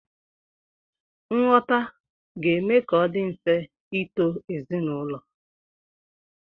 Nghọta ga-eme ka ọ dị mfe ịto ezinaụlọ.